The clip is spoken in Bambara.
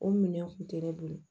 O minɛn kun tɛ ne bolo